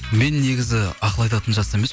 мен негізі ақыл айтатын жаста емес